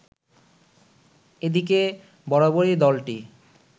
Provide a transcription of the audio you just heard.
এদিকে বরাবরই দলটি